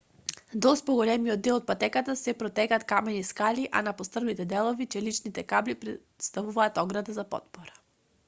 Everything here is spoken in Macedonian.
долж поголемиот дел од патеката се протегаат камени скали а на пострмните делови челичните кабли претставуваат ограда за потпора